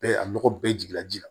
Bɛɛ a nɔgɔ bɛɛ jiginna ji la